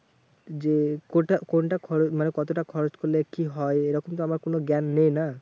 যে কোথা কোনটাখরচ মানে কতটা খরচ হলে কি হয় এরকম তো আমার জ্ঞান নেই না?